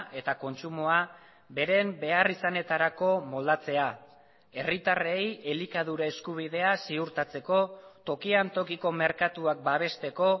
eta kontsumoa beren beharrizanetarako moldatzea herritarrei elikadura eskubidea ziurtatzeko tokian tokiko merkatuak babesteko